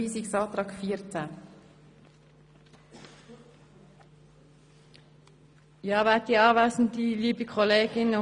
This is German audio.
Wir sprechen jetzt über den Rückweisungsantrag zu Artikel 14.